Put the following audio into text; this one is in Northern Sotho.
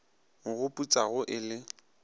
mo go putsago e le